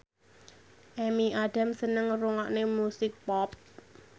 Amy Adams seneng ngrungokne musik pop